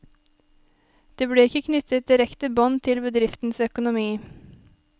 Det ble ikke knyttet direkte bånd til bedriftens økonomi.